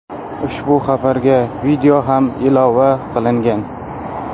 Ushbu xabarga video ham ilova qilingan .